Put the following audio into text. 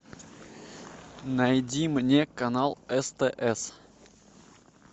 найди мне канал стс